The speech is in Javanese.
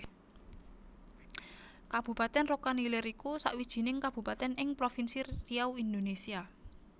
Kabupatèn Rokan Hilir iku sawijining kabupatèn ing Provinsi Riau Indonésia